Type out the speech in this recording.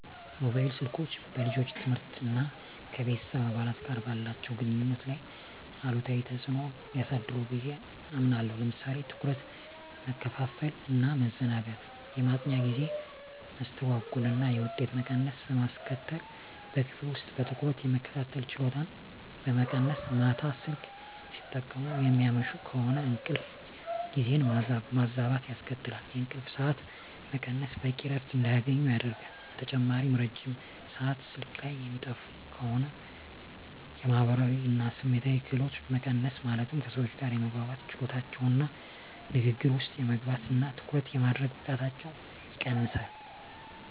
ሞባይል ስልኮች በልጆች ትምህርት እና ከቤተሰብ አባላት ጋር ባላቸው ግንኙነት ላይ አሉታዊ ተጽዕኖ ሊያሳድሩ ብየ አምናለሁ። ለምሳሌ ትኩረት መከፋፈል እና ማዘናጋት፣ የማጥኛ ጊዜ መስተጓጎል እና የውጤት መቀነስ በማስከትል፣ በክፍል ውስጥ በትኩረት የመከታተል ችሎታን በመቀነስ፣ ማታ ስልክ ሲጠቀሙ የሚያመሹ ከሆነ እንቅልፍ ጊዜን ማዛባት ያስከትላል፣ የእንቅልፍ ሰዓት መቀነስ በቂ እረፍት እንዳያገኙ ያደርጋል። በተጨማሪም ረጅም ሰአት ስልክ ላይ የሚያጠፉ ከሆነ የማህበራዊ እና ስሜታዊ ክህሎቶች መቀነስ ማለትም ከሰዎች ጋር የመግባባት ችሎታቸውን እና ንግግር ውስጥ የመግባት እና ትኩረት የማድረግ ብቃታቸውን ይቀንሰዋል።